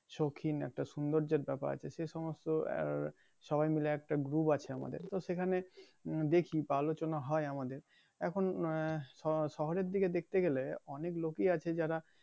সৌখিন বা সৌন্দর্যের ব্যাপার আছে সে সমস্ত আর সবাই মিলে একটা গ্রুপ আছে আমাদের তো সেখানে দেখি বা আলোচনা হয় আমাদের এখন শহরের দিকে দেখতে গেলে অনেক লোকই আছে যারা